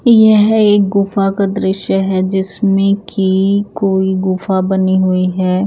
यह एक गुफा का दृश्य है जिसमें की कोई गुफा बनी हुईं हैं।